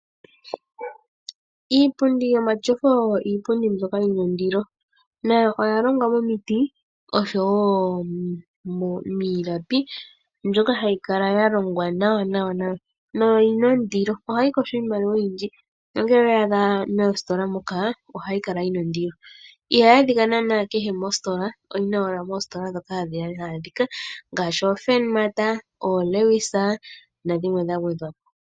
Iipundi omatyofa oyi na ondilo. Oya longwa momuti oshaowo miilapi mbyoka hayi kala ya longwa nawa nohayi kosha iimaliwa oyindji. Ngele owe ya adha moositola moka ohayi kala yi na ondilo, ihayi adhika kehe mositola oyi na ashike moositola moka hayi adhika ngaashi ofurnmat, olewis nadhimwe dha gwedhwa po.